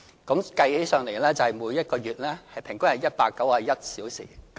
計算起來，即每一個月平均是191小時。